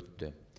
өтті